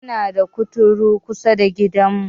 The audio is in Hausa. Muna da kuturu kusada gidan mu